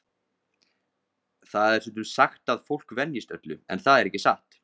Það er stundum sagt að fólk venjist öllu, en það er ekki satt.